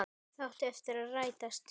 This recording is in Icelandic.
Það átti eftir að rætast.